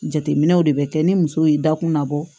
Jateminɛw de bɛ kɛ ni muso y'i da kun labɔ